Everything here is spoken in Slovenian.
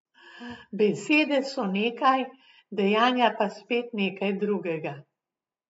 Besede so nekaj, dejanja pa spet nekaj drugega.